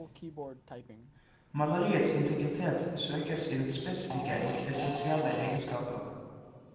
Maleriets integritet søkes i dets spesifikke og essensielle egenskaper.